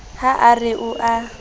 ha a re o a